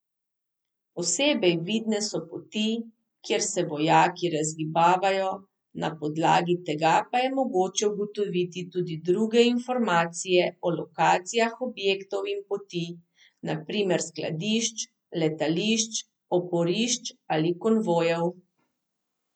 Posebej vidne so poti, kjer se vojaki razgibavajo, na podlagi tega pa je mogoče ugotoviti tudi druge informacije o lokacijah objektov in poti, na primer skladišč, letališč, oporišč ali konvojev.